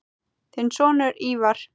Þinn sonur, Ívar.